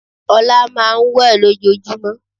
Ola máà ń wẹ̀ lojojúmọ́.